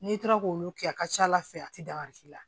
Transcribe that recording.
N'i taara k'olu kɛ a ka ca ala fɛ a ti dankari la